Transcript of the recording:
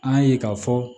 An y'a ye k'a fɔ